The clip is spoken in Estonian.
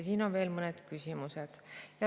Siin on veel mõned küsimused.